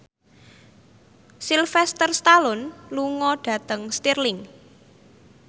Sylvester Stallone lunga dhateng Stirling